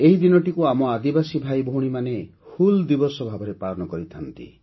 ଏହି ଦିନଟିକୁ ଆମ ଆଦିବାସୀ ଭାଇଭଉଣୀମାନେ ହୁଲ୍ ଦିବସ ଭାବେ ପାଳନ କରିଥାନ୍ତି